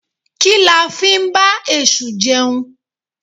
Kí la ń fí ba esú jeún?